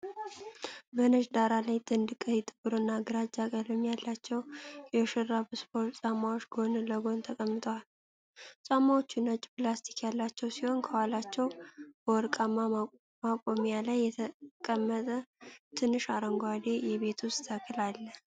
በነጭ ዳራ ላይ ጥንድ ቀይ፣ ጥቁርና ግራጫ ቀለም ያላቸው የሹራብ ስፖርት ጫማዎች ጎን ለጎን ተቀምጠዋል። ጫማዎቹ ነጭ ላስቲክ ያላቸው ሲሆን፣ ከኋላቸው በወርቃማ ማቆሚያ ላይ የተቀመጠ ትንሽ አረንጓዴ የቤት ውስጥ ተክል አለ።